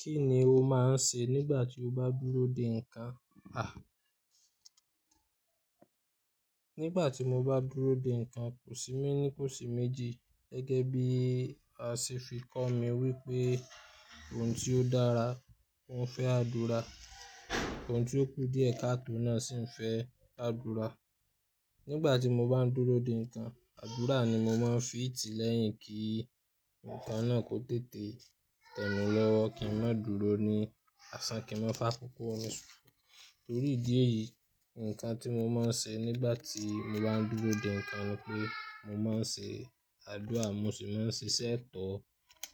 Kí ni o máa ń se nígbà tí o bá dúró de nǹkan? A! Nígbà tí mo bá dúró de nǹkan, kò sí mí ní kò sí méjì. Gẹ́gẹ́ bí a ṣe fi kọ́ mi wípé ohun tí ó dára, ó ń fẹ́ àdúra. Ohun tí ó kú díẹ̀ katọ́ náà sì ń fẹ́ àdúra. Nígbà tí mo bá ń dúró de nǹkan, àdúra ni mo máa ń fi ti lẹ́yìn kí nǹkan náà kó tètè tẹ̀mí lọ́wọ́ kí ń má dúró ní àsán kí ń má fà koko rùn sùn. Nítorí ìdí èyí, nǹkan tí mo máa ń se nígbà tí mo bá ń dúró de nǹkan ni pé mo máa ń se àdúrà mo sì máa ń sísẹ́ tọ̀